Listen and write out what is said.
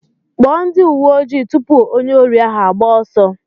Kpọọ ndị uwe ojii tụpụ onye órí ahụ agbaa ọsọ.